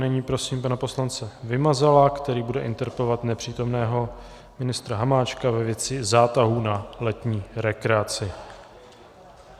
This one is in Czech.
Nyní prosím pana poslance Vymazala, který bude interpelovat nepřítomného ministra Hamáčka ve věci zátahu na letní rekreaci.